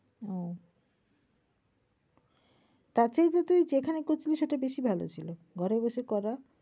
ওহ। তারচেয়ে তো তুই যেখানে করছিলি সেটা বেশী ভালো ছিল। ঘরে বসে করা।